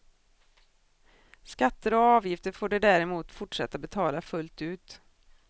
Skatter och avgifter får de däremot fortsätta betala fullt ut.